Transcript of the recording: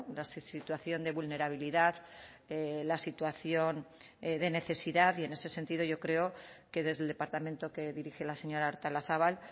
la situación de vulnerabilidad la situación de necesidad y en ese sentido yo creo que desde el departamento que dirige la señora artolazabal